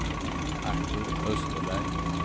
Artur Österberg